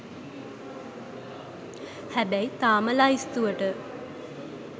හැබැයි තාම ලැයිස්තුවට